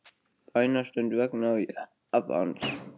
Bænastund vegna Japans